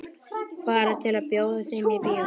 Bara til að bjóða þeim í bíó.